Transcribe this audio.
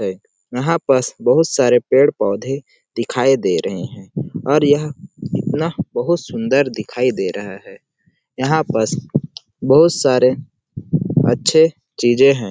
हैं यहाँ पास बहुत सारे पेड़ - पौधे दिखाई दे रहे हैं और यहाँ इतना बहुत सुंदर दिखाई दे रहा है यहाँ पास बहुत सारे अच्छे चीजे है।